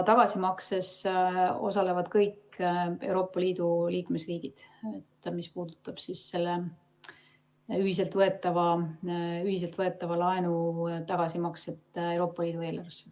Tagasimakses osalevad kõik Euroopa Liidu liikmesriigid, mis puudutab selle ühiselt võetava laenu tagasimakset Euroopa Liidu eelarvesse.